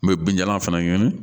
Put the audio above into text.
N bɛ binjalan fana ɲini